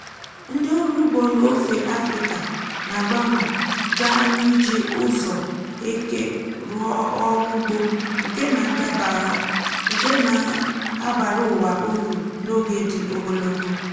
ndị ọrụ ugbo n’ofe afrika na-agbanwe gaa n’iji ụzọ eke rụọ ọrụ ugbo nke na-abara ụwa uru n’oge dị ogologo.